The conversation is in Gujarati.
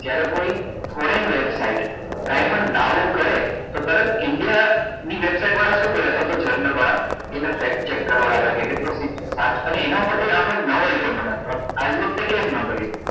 જ્યારે કોઈ foreign website કઈ પણ દાવો કરે તો તરત india ની website વાળા શું કરે અથવા તો german વાળા કે એનો check કરાવડાવે કેટલો fix અને એના પર થી આપડે નવો મળે તો આવી વખતે કેમ નાં કર્યું